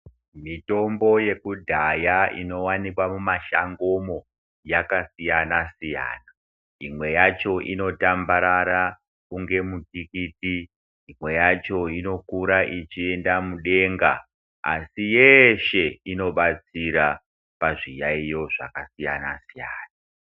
Mitombo yekudhaya inowanikwa mumashangomo, yakasiyana-siyana. Imwe yacho inotambarara kunge mutikiti. Imwe yacho inokura ichienda mudenga, asi yeshe inobatsira pazviyaiyo zvakasiyana-siyana.